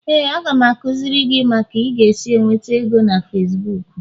Éè, a ga m akụziri gị ka ị ga-esi nweta ego na Facibuku